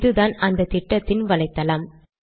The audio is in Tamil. இதுதான் அந்த திட்டத்தின் வலைத்தளம்